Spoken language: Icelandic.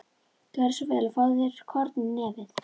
Gjörðu svo vel og fáðu þér korn í nefið.